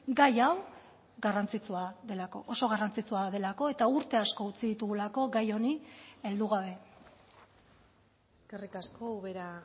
gai hau garrantzitsua delako oso garrantzitsua delako eta urte asko utzi ditugulako gai honi heldu gabe eskerrik asko ubera